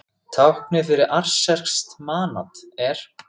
Táknið fyrir aserskt manat er.